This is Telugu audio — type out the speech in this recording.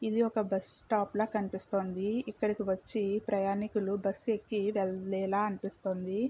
ఇది ఒక బస్ స్టాప్ లా కనిపిస్తోందీ ఇక్కడకి వచ్చి ప్రయాణికులు బస్సు ఎక్కి వెళ్లేలా అనిపిస్తుంది.